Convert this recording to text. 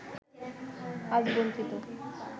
আজ বঞ্চিত